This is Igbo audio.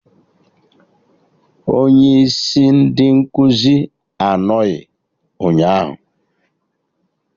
Onye isi ndị nkụzi anọghị ụnyaahụ